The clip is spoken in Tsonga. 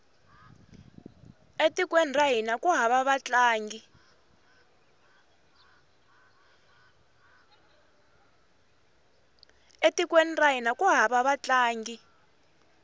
e tikweni ra hina ku hava vatlangi